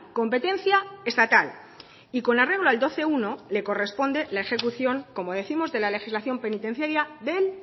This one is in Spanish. competencia estatal y con arreglo al doce punto uno le corresponde la ejecución como décimos de la legislación penitenciaria del